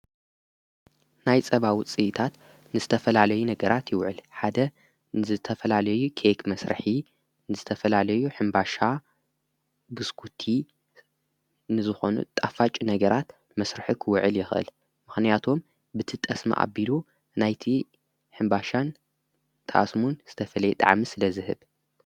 ናይ ጸባዊ ፅኢታት ንስተፈላለዩ ነገራት ይውዕል ሓደ ንዝተፈላለዩ ኬክ መሥርኂ ንዝተፈላለዩ ሕምባሻ ብስኩቲ ንዝኾኑ ጣፋጭ ነገራት መሥርሒ ኽውዕል የኽል ምኽንያቶም ብት ጠስሚ ኣቢሉ ናይቲ ሕምባሻን ተኣስሙን ዝተፈለየ ጣዓም ስለ ዝህብ::